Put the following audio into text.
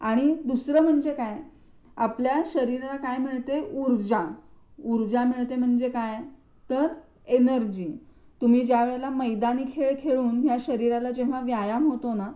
आणि दुसरं म्हणजे काय आपल्या शरीराला काय मिळते ऊर्जा, ऊर्जा मिळते म्हणजे काय तर एनर्जी तुम्ही जेव्हा मैदानी खेळ खेळून या शरीराला जेव्हा व्यायाम होतो ना